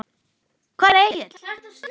Hvar er Egill?